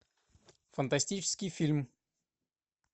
фантастический фильм